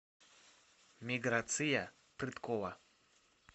миграция прыткова